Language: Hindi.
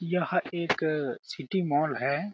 यह एक सिटी मॉल है।